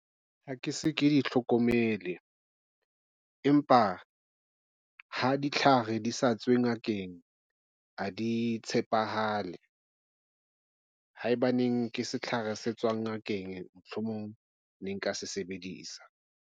Ha ke se ke e hlokomele, empa ha ditlhare di sa tswe ngakeng, ha di tshepahale haebaneng ke setlhare se tswa ngakeng. Mohlomong ne nka se sebedisa.